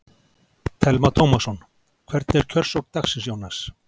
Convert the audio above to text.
Telma Tómasson: Hvernig er kjörsókn dagsins, Jónas?